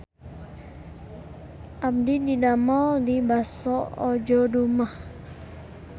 Abdi didamel di Baso Ojo Dumeh